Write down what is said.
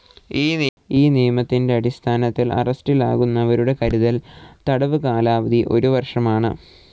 ഈ നിയമത്തിൻ്റെ അടിസ്ഥാനത്തിൽ അറസ്റ്റിലാകുന്നവരുടെ കരുതൽ തടവ് കാലാവധി ഒരു വർഷമാണ്.